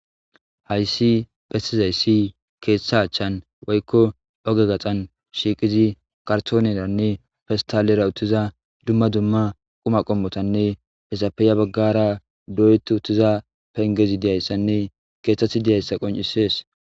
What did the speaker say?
Hayssi phestizayssi keeththa achchan woykko oge gaxan shiiqizi kartooneranne festalera uttiza dumma dumma quma qommotanne hesapeya baggara doyetu uttiza pengezi diyayssanne keeththeti diyayssa qoncisees.